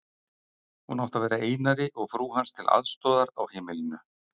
Hún átti að vera Einari og frú hans til aðstoðar á heimilinu.